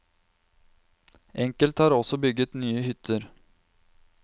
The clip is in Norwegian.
Enkelte har også bygget nye hytter.